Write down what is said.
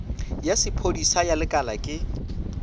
ya sephodisa ya lekala ke